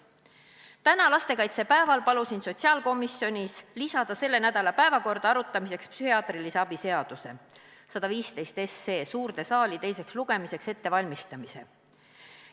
Täna, lastekaitsepäeval palusin sotsiaalkomisjonis lisada selle nädala päevakorda arutamiseks psühhiaatrilise abi seaduse eelnõu 115 suurde saali teiseks lugemiseks ettevalmistamise.